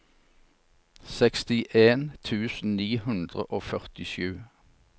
sekstien tusen ni hundre og førtisju